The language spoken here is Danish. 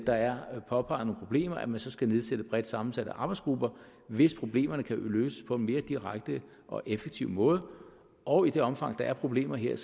der er påpeget nogle problemer at man så skal nedsætte bredt sammensatte arbejdsgrupper hvis problemerne kan løses på en mere direkte og effektiv måde og i det omfang der er problemer her